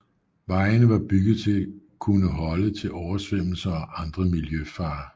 Vejene var bygget til kunne holde til oversvømmelser og andre miljøfarer